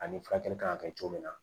Ani furakɛli kan ka kɛ cogo min na